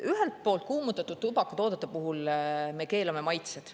Ühelt poolt kuumutatud tubakatoodete puhul me keelame maitsed.